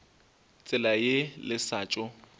tsela ye le sa tšo